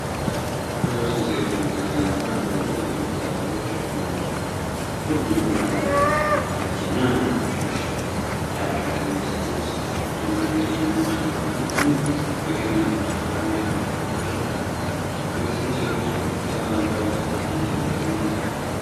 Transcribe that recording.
ከሶስት ሴቶች መካከል አንዷ ከረጢት በጭንቅላቷ ላይ ተሸክማለች። ሁሉም ባህላዊ ያረጀ እና የቆሸሸ የሃበሻ ቀሚስ ልብስ፣ ደማቅ ቀይና ነጭ ቀበቶ እንዲሁም በገመድ የታሰሩ የአንገት ጌጦች ለብሰዋል። ከበስተጀርባ ጥቅጥቅ ያሉ አረንጓዴ ተክሎች ያሉበት ሜዳ አለ።